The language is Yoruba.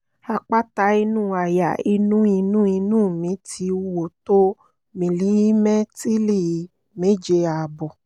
àpáta inú àyà inú inú inú mi ti wúwo tó mílímẹ́ìtì́lì méje ààbọ̀